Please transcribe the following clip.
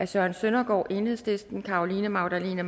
søren søndergaard carolina magdalene